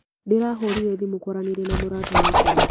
Ndĩrahũrire thimũ kwaranĩria na mũrata wakwa.